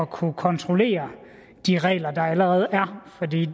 kunne kontrollere de regler der allerede er